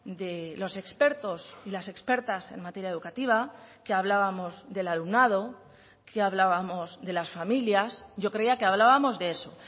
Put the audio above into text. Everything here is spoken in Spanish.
de los expertos y las expertas en materia educativa que hablábamos del alumnado que hablábamos de las familias yo creía que hablábamos de eso